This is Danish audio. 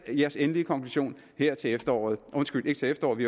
jeres endelige konklusion her til efteråret undskyld ikke til efteråret